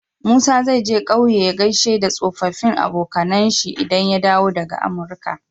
Musa zai je ƙauye ya gaishe da tsofafin abokAnan shi idan ya dawo daka amurka